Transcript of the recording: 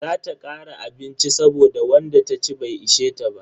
Za ta kara abinci saboda wanda taci bai ishe ta ba.